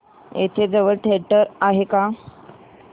इथे जवळ थिएटर आहे का